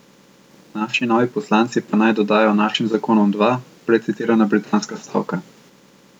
Naši novi poslanci pa naj dodajo našim zakonom dva, prej citirana britanska stavka.